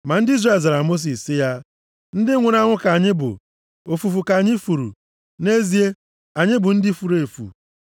Ma ndị Izrel zara Mosis sị ya, “Ndị nwụrụ anwụ ka anyị bụ! Ofufu ka anyị furu. Nʼezie anyị bụ ndị furu efu.